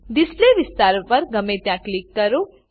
display વિસ્તાર પર ગમે ત્યાં ક્લિક કરો